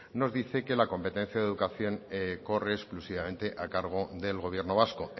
nos dice que la competencia de educación corre exclusivamente a cargo del gobierno vasco